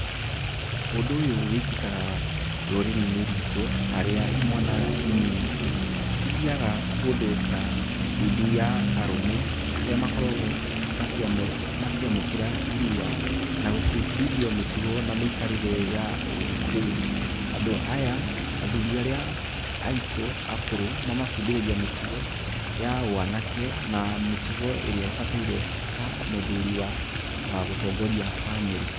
Ũndũ ũyũ wĩkĩkaga rũrĩrĩ-inĩ rwitũ, harĩa imwana inini cithiaga kũndũ ta ndundu ya arũme harĩa makoragwo makĩamũkĩra irua, na gũbundithio mĩtugo na mĩikarĩre ya ũgĩkũyũ . Andũ aya, athuri arĩa aitũ akũrũ mamabundithagia mĩtugo ya ũanake na mĩtugo ĩrĩa ĩbataire ta mũthuri wa gũtongoria bamĩrĩ.